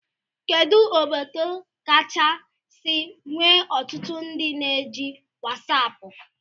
Kedu obodo kachasi nwee ọtụtụ ndị na-eji wasapu?